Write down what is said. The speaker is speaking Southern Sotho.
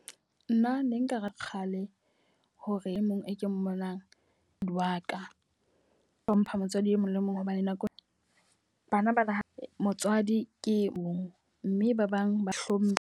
Nna ne nka ra kgale hore e mong e ke mmonang wa ka. Ho mpha motswadi e mong le mong, hobane nakong bana bana motswadi ke e mong. Mme ba bang ba hlomphe.